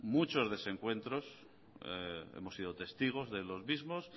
muchos desencuentros hemos sido testigos de los mismos